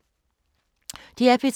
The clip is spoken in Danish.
DR P3